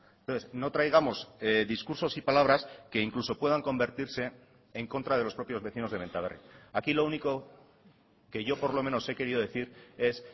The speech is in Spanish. entonces no traigamos discursos y palabras que incluso puedan convertirse en contra de los propios vecinos de benta berri aquí lo único que yo por lo menos he querido decir es